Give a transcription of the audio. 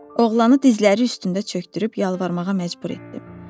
Oğlanı dizləri üstündə çökdürüb yalvarmağa məcbur etdim.